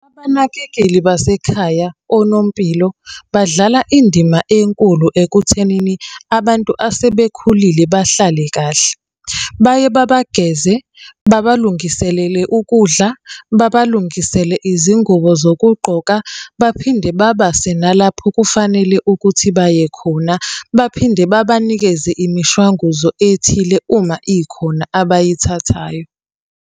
Abanakekeli basekhaya, onompilo, badlala indima enkulu ekuthenini abantu asebekhulile bahlale kahle. Baye babageze, babalungiselele ukudla, babalungisele izingubo zokugqoka, baphinde babase nalapho okufanele ukuthi baye khona. Baphinde babanikeze imishwanguzo ethile uma ikhona abayithathayo.